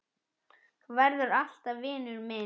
Þú verður alltaf vinur minn.